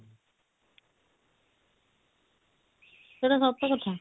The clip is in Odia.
ସେଟା ସତ କଥା